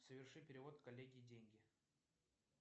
соверши перевод коллеге деньги